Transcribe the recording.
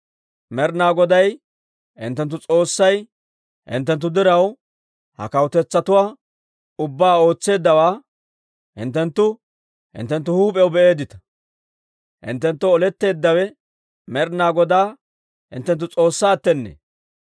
Med'ina Goday hinttenttu S'oossay hinttenttu diraw ha kawutetsatuwaa ubbaa ootseeddawaa hinttenttu hinttenttu huup'iyaw be"eeddita. Hinttenttoo oletteeddawe Med'ina Godaa hinttenttu S'oossaattenne.